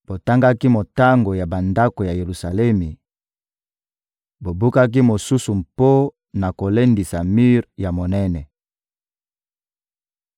botangaki motango ya bandako ya Yelusalemi, bobukaki mosusu mpo na kolendisa mir ya monene.